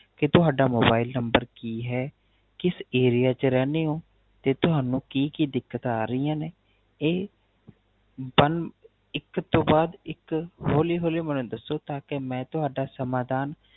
ਕੇ ਤੁਹਾਡਾ Mobile number ਕੀ ਹੈ ਕਿਸ Area ਚ ਰਹਨੇ ਹੋ ਤੇ ਤੁਹਾਨੂ ਕੀ ਕੀ ਦਿੱਕਤ ਆ ਰਹਿਆ ਨੇ ਇਹ ਇਕ ਤੋ ਬਾਦ ਇਕ ਹੋਲੀ ਹੋਲੀ ਮੈਨੂ ਦੱਸੋ ਤਾ ਕੀ ਮੈ ਤੁਹਾਡਾ ਸਮਾਦਾਨ